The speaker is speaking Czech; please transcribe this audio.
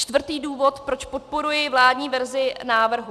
Čtvrtý důvod, proč podporuji vládní verzi návrhu.